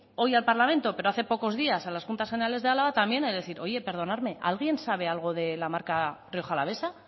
hoy al parlamento pero hace pocos días a las juntas generales de araba también he de decir oye perdonarme alguien sabe algo de la marca rioja alavesa